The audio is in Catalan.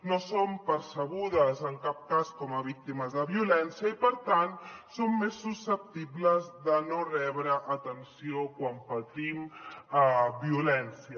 no som percebudes en cap cas com a víctimes de violència i per tant som més susceptibles de no rebre atenció quan patim violència